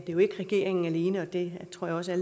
jo ikke regeringen alene og det tror jeg også at